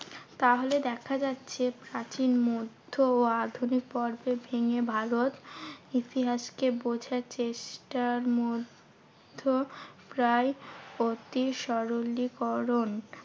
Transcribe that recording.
তাহলে দেখা যাচ্ছে প্রাচীন, মধ্য ও আধুনিক পর্বে ভেঙে ভারত ইতিহাসকে বোঝার চেষ্টার মধ্য প্রায় অতি সরলীকরণ